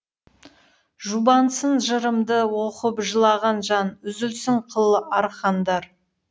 жұбансын жырымды оқып жылаған жан үзілсін қыл арқандар